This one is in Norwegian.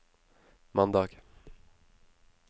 mandag